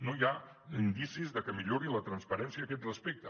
no hi ha indicis de que millori la transparència a aquest respecte